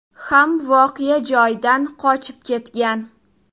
ham voqea joyidan qochib ketgan.